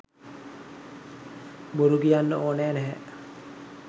බොරු කියන්න ඕන නැහැ